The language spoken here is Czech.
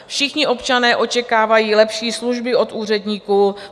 Všichni občané očekávají lepší služby od úředníků.